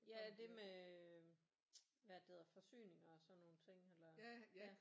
Ja det med hvad er det det hedder forsyninger og sådan nogle ting eller ja